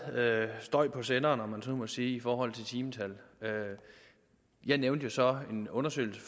støj på senderen om man så må sige i forhold til timetal jeg nævnte jo så en undersøgelse